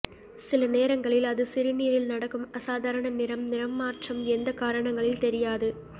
சில நேரங்களில் அது சிறுநீரில் நடக்கும் அசாதாரண நிறம் நிறம் மாற்றம் எந்த காரணங்களில் தெரியாது